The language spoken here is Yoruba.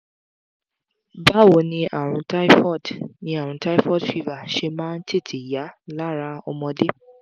báwo ni àrùn typhoid ni àrùn typhoid fever ṣe máa ń tètè yá lára ọmọdé?